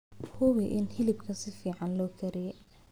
Hubi in hilibka si fiican loo kariyey.